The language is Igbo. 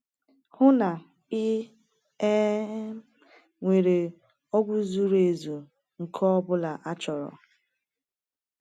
Hụ na ị um nwere ọgwụ zuru ezu nke ọ bụla achọrọ.